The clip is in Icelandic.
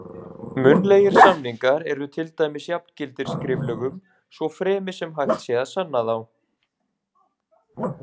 Munnlegir samningar eru til dæmis jafngildir skriflegum, svo fremi sem hægt sé að sanna þá.